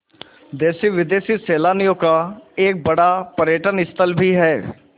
देशी विदेशी सैलानियों का एक बड़ा पर्यटन स्थल भी है